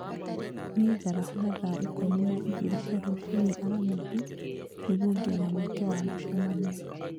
niĩ njarahũra thaa ikũmi na igĩrĩ cia rũcinĩ aramithi nĩguo ngĩe na mweke wa mũcemanio